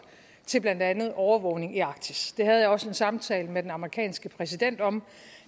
til blandt andet overvågning i arktis det havde jeg også en samtale med den amerikanske præsident om